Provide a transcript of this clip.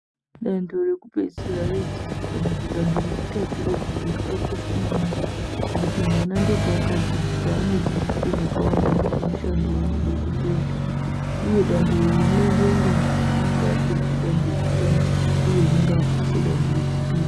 Dando rekupedzisira redzidzo kana dando rechitatu redzidzo rakakosha maningi ngekuti mwana ndopanodzidziswa zvakawanda nezvemishando wanoda kuzoita uye dando iri rinoendwa nevanhu vanenge vapedza danho rekutanga uye unenge wapasa danho rechipiri.